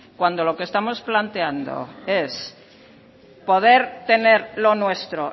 cuando lo que estamos planteando es poder tener lo nuestro